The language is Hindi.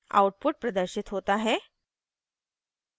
output प्रदर्शित होता है